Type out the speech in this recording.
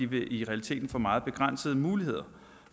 vil i realiteten få meget begrænsede muligheder